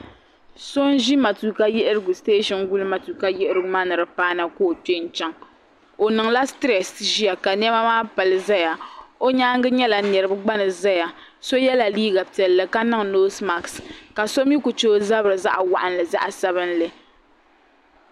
So n-ʒi matuuka yiɣirigu siteeshin guli matuuka yiɣirigu maa ni di paana ka o kpe n-chaŋ o niŋla sitrɛs ʒiya ka nɛma maa pali zaya o nyaanga nyɛla niriba gba ni zaya so yela liiga piɛlla ka niŋ noosmak ka so mi kuli che o zabiri zaɣ'waɣinli zaɣ'sabinli